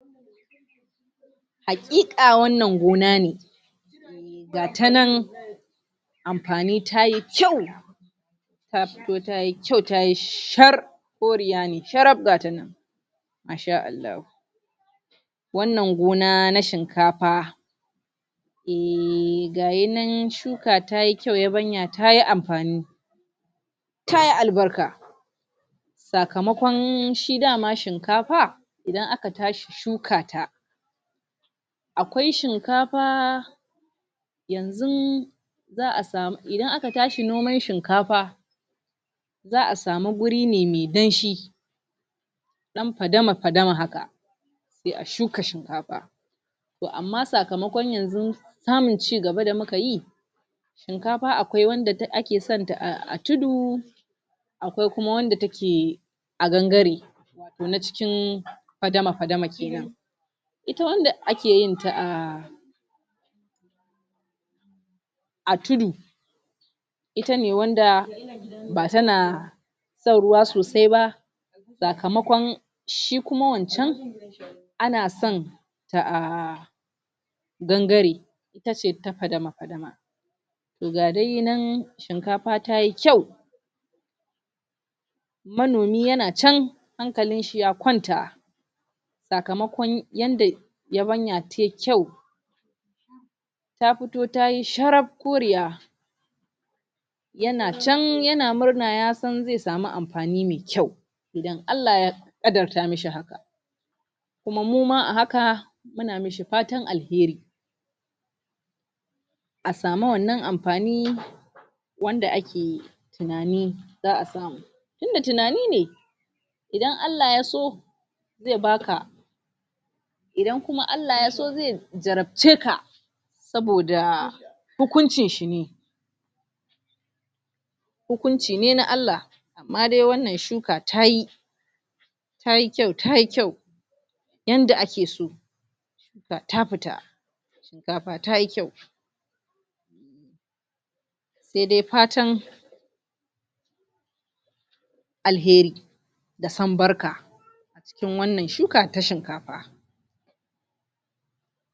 Haƙiƙa wannan gona ne ga ta nan amfani ta yi kyau ta fito ta yi kyau ta yi shar koriya ne sharab ga ta nan masha Allahu wannan gona na shinkafa ehhhh ga yi nan shuka ta yi kyau yabanya ta yi amfani ta yi albarka sakamakon shi da ma shinkafa idan aka tashi shuka ta akwai shinkafa yanzun za a samu idan aka tashi noman shinkafa za a samu wuri ne mwai danshi ɗan fadama-fadama haka sai a shuka shinkafa to amma sakamakon yanzu samun cigaba da muka yi shiunkafa akwai wanda ake san ta a tudu akwai kuma wacce take yi a gangare ko na cikin fadama-fadama kenan ita wanda ake yin ta a a tudu ita ne wanda ba tana san ruwa sosai ba sakamakon shi kuma wancan ana san ta a gangare ita ce ta fadama-fadama to ga dai nan shinkafa ta yi kyau manomi yana can hankalinsa ya kwanta sakamakon yadda yabanya yai kyau ta fito ta yi sharab koriya yana can yana murna ya san zai samu amfani mai kyau idan Allah ya ƙadarta masa haka kuma muma a haka muna yi masa fatan alheri a samu wannan amfani wanda ake yi tunani za a samu tunda tunani ne idan Allah ya so zai baka idan kuma Allah ya so zai jarabce ka saboda hukuncin shi ne hukunci ne na Allah amma dai wannan shuka ta yi ta yi kyau ta yi kyau yanda ake so ga ta fita shinkafa ta yi kyau sai dai fatan alheri daa san barka kuɗin wannan shuka ta shinkafa